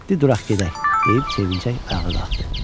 Di duraq gedək deyib sevinclə ayağa qalxdı.